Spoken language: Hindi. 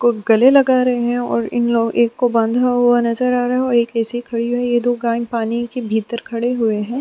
कोई गले लगा रहे हैं और इन लोग एक को बांधा हुआ नजर आ रहा है और एक ऐसी खड़ी है यह दो गाय पानी के भीतर खड़े हुए हैं।